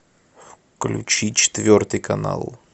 включи четвертый канал